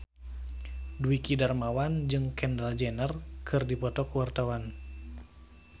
Dwiki Darmawan jeung Kendall Jenner keur dipoto ku wartawan